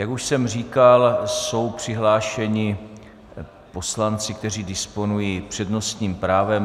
Jak už jsem říkal, jsou přihlášeni poslanci, kteří disponují přednostním právem.